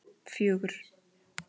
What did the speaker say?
fjögur